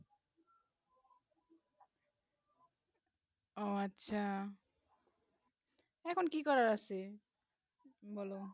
ওহ আচ্ছা এখন কি করা যাচ্ছে বোলো